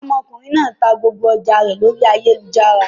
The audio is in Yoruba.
Ọmọkùnrin náà ta gbogbo ọjà rẹ lórí ayélujára.